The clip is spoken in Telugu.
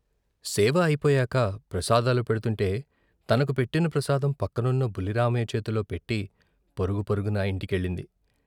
సేవ అయిపోయాక ప్రసాదాలు పెడ్తుంటే తనకు పెట్టిన ప్రసాదం పక్కనున్న బుల్లిరామయ్య చేతిలో పెట్టి పరుగు పరుగున ఇంటికెళ్ళింది.